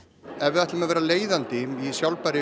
ef við ætlum að vera leiðandi í sjálfbærri